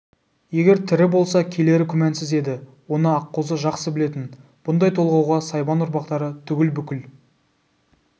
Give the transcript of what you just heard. егер тірі болса келері күмәнсіз еді оны аққозы жақсы білетін бұндай толғауға сайбан ұрпақтары түгіл бүкіл